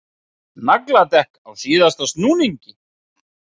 Nagladekk á síðasta snúningi